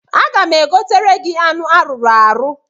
Aga m egotere gị anụ arụrụ arụ.